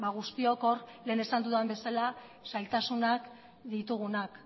guztiok hor lehen esan dudan bezala zailtasunak ditugunak